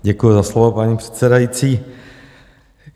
Děkuju za slovo, paní předsedající.